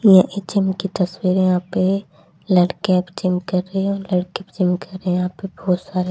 ये एक जिम की तस्वीर है यहां पे लड़कियां भी जिम कर रही और लड़के भी जिम कर रहे यहां पे बहुत सारे --